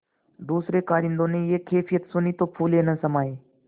दूसरें कारिंदों ने यह कैफियत सुनी तो फूले न समाये